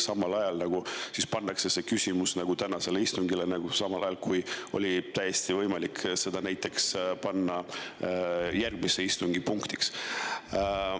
Samal ajal pannakse see küsimus tänasele istungile, kuigi oli täiesti võimalik panna see järgmise istungi punktiks.